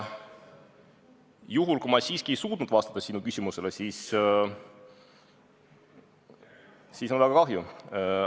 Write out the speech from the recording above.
Kui ma siiski ei suutnud sinu küsimusele vastata, siis on väga kahju.